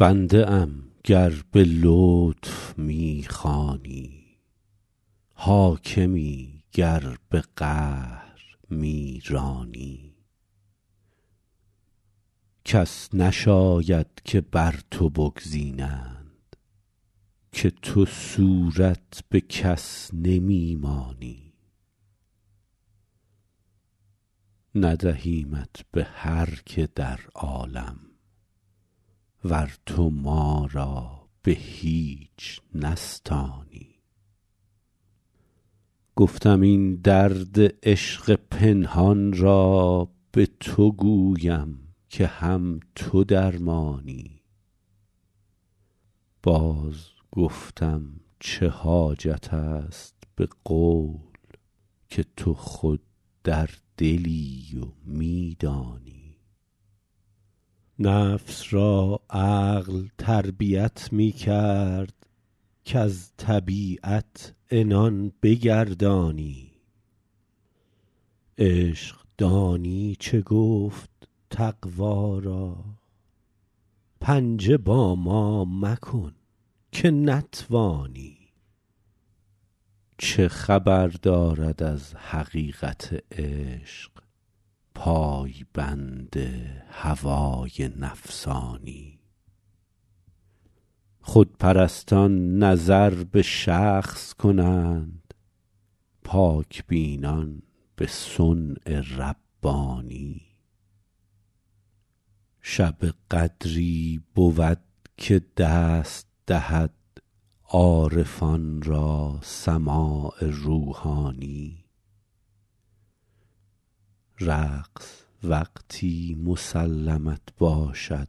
بنده ام گر به لطف می خوانی حاکمی گر به قهر می رانی کس نشاید که بر تو بگزینند که تو صورت به کس نمی مانی ندهیمت به هر که در عالم ور تو ما را به هیچ نستانی گفتم این درد عشق پنهان را به تو گویم که هم تو درمانی باز گفتم چه حاجت است به قول که تو خود در دلی و می دانی نفس را عقل تربیت می کرد کز طبیعت عنان بگردانی عشق دانی چه گفت تقوا را پنجه با ما مکن که نتوانی چه خبر دارد از حقیقت عشق پای بند هوای نفسانی خودپرستان نظر به شخص کنند پاک بینان به صنع ربانی شب قدری بود که دست دهد عارفان را سماع روحانی رقص وقتی مسلمت باشد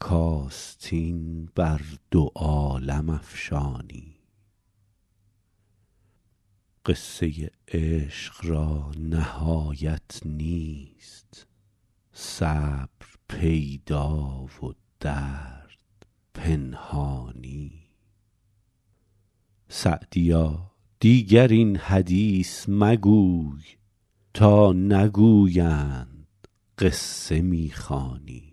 کآستین بر دو عالم افشانی قصه عشق را نهایت نیست صبر پیدا و درد پنهانی سعدیا دیگر این حدیث مگوی تا نگویند قصه می خوانی